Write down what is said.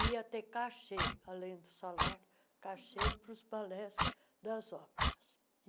E ia ter cachê, além do salário, cachê para os balés das óperas.